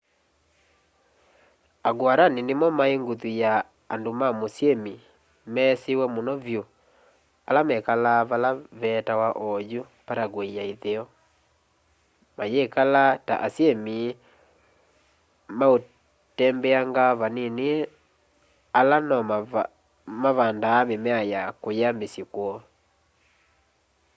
a guarani nimo mai nguthu ya andu ma musyini mesiwe muno vyu ala mekalaa vala vetawa oyu paraguay ya itheo mayikala ta asyimi mautembeanga vanini ala no mavandaa mimea ya kuya misyi kwoo